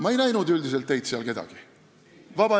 Ma ei näinud seal üldiselt kedagi teist.